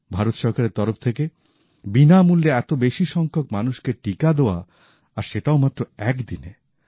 ভারত সরকারের তরফ থেকে বিনামূল্যে এত বেশি সংখ্যক মানুষকে টিকা দেওয়া আর সেটাও মাত্র এক দিনে